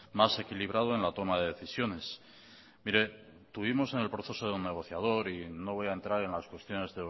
más equilibrado en la toma de decisiones mire estuvimos en el proceso negociador y no voy a entrar en las expresiones